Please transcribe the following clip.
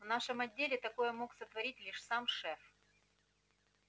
в нашем отделе такое мог сотворить лишь сам шеф